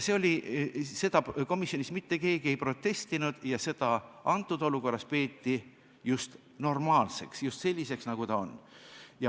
Selle vastu komisjonis mitte keegi ei protestinud ja antud olukorras peeti seda pigem normaalseks, just selliseks, nagu ta on.